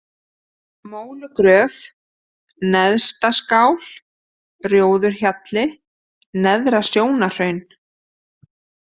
Mólugröf, Neðstaskál, Rjóðurhjalli, Neðra-Sjónarhraun